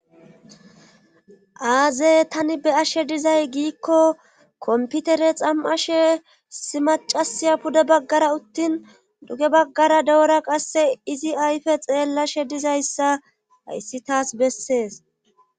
aaze tani be ashe dizay giikko komputere xam7ashe issi macasiya pude baggara uttin duge baggara dewura qasse izi ayfe xeellashe dizayssa hayssi taas bessees